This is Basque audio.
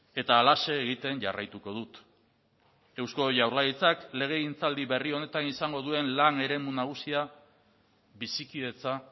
eta halaxe egiten jarraituko dut eusko jaurlaritzak legegintzaldi berri honetan izango duen lan eremu nagusia bizikidetza